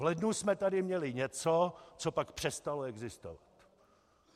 V lednu jsme tady měli něco, co pak přestalo existovat.